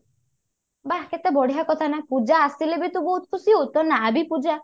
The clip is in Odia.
ବାଃ କେତେ ବଢିଆ କଥା ନା ପୂଜା ଆସିଲେ ବି ତୁ ବହୁତ ଖୁସି ହଉ ତୋ ନା ବି ପୂଜା